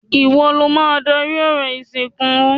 Ìwo lo máa darí orò ìsìnkú.